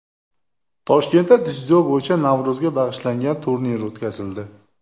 Toshkentda dzyudo bo‘yicha Navro‘zga bag‘ishlangan turnir o‘tkazildi.